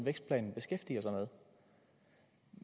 vækstplanen beskæftiger sig med